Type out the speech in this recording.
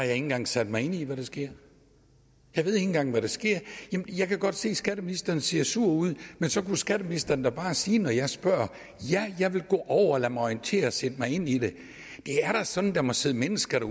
engang sat mig ind i hvad der sker jeg ved ikke engang hvad der sker jeg kan godt se at skatteministeren ser sur ud men så kunne skatteministeren da bare sige når jeg spørger ja jeg vil gå over og lade mig orientere og sætte mig ind i det det er da sådan at der må sidde mennesker